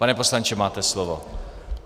Pane poslanče, máte slovo.